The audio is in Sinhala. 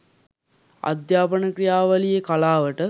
අධ්‍යාපන ක්‍රියාවලියේ කලාවට,